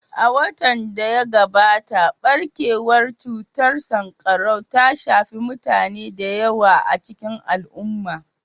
A watan da ya gabata, barkewar cutar sankarau ta shafi mutane da yawa a cikin al'umma